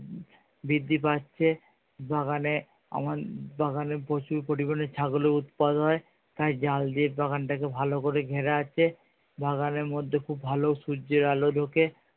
বৃদ্ধি পাচ্ছে বাগানে আমার বাগানে প্রচুর পরিমানে ছাগলের উৎপাত হয় তাই জাল দিয়ে বাগানটাকে ভালো করে ঘেরা আছে। বাগানের মধ্যে খুব ভালো সূর্যের আলো ঢোকে